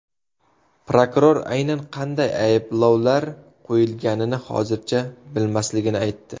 Prokuror aynan qanday ayblovlar qo‘yilganini hozircha bilmasligini aytdi.